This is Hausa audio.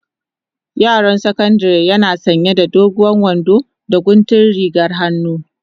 Yaron sakandari yake sanya da doguwar wando da guntun rigar hannu.